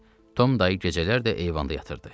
Tom dayı gecələr də eyvanda yatırdı.